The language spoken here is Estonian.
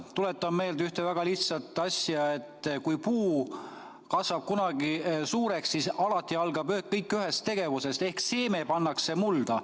Tuletan meelde ühte väga lihtsat asja: kui puu kasvab kunagi suureks, siis alati algab kõik ühest tegevusest ehk seeme pannakse mulda.